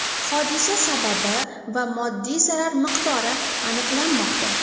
Hodisa sababi va moddiy zarar miqdori aniqlanmoqda.